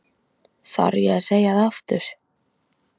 Þarf ég að segja það aftur?